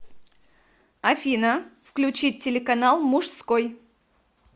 афина включить телеканал мужской